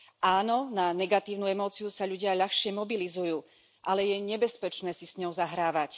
Áno, na negatívnu emóciu sa ľudia ľahšie mobilizujú, ale je nebezpečné sa s ňou zahrávať.